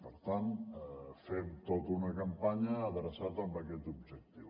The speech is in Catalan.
per tant fem tota una campanya adreçada a aquest objectiu